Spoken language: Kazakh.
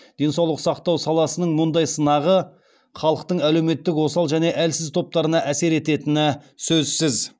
денсаулық сақтау саласының мұндай сынағы халықтың әлеуметтік осал және әлсіз топтарына әсер ететіні сөзсіз